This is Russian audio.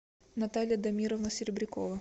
наталья дамировна серебрякова